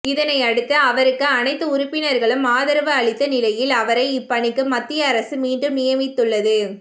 இதனையடுத்து அவருக்கு அனைத்து உறுப்பினர்களும் அதரவு அளித்த நிலையில் அவரை இப்பணிக்கு மத்திய அரசு மீண்டும் நியமித்துள்ளது